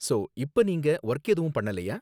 So, இப்ப நீங்க work எதுவும் பண்ணலயா?